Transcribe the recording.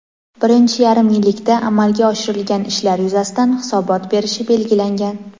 birinchi yarim yillikda amalga oshirilgan ishlar yuzasidan hisobot berishi belgilangan.